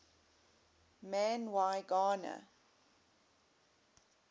man y gana